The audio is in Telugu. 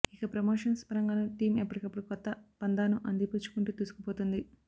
ఇక ప్రమోషన్స్ పరంగానూ టీం ఎప్పటికప్పుడు కొత్త పంథాను అందిపుచ్చుకుంటూ దూసుకుపోతోంది